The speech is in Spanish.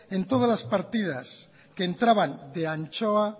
en todas las partidas que entraban de anchoa